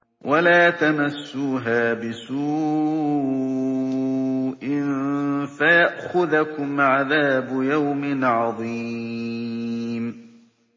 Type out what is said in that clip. وَلَا تَمَسُّوهَا بِسُوءٍ فَيَأْخُذَكُمْ عَذَابُ يَوْمٍ عَظِيمٍ